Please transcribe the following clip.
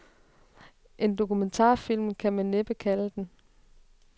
En dokumentarfilm kan man næppe kalde den.